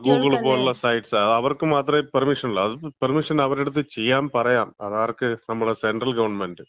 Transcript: ആ ഗൂഗിൾ പോലുള്ള സൈറ്റ്സ്, അവർക്ക് മാത്രമേ പെർമിഷൻ ഉള്ളു. അതും പെർമിഷൻ അവരെ അടുത്ത് ചെയ്യാൻ പറയാം. അതാർക്ക് നമ്മളെ സെൻട്രൽ ഗവൺമെന്‍റ്.